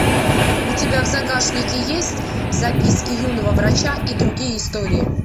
у тебя в загашнике есть записки юного врача и другие истории